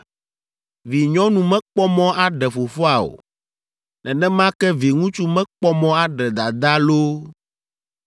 “ ‘Vinyɔnu mekpɔ mɔ aɖe fofoa o. Nenema ke viŋutsu mekpɔ mɔ aɖe dadaa loo